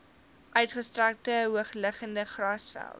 uitgestrekte hoogliggende grasvelde